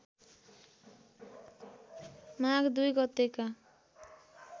माघ २ गतेका